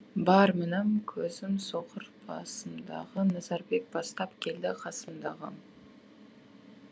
бар мінім көзім соқыр басымдағы назарбек бастап келді қасымдағы